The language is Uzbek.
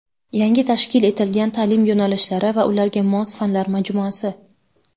Yangi tashkil etilgan ta’lim yo‘nalishlari va ularga mos fanlar majmuasi.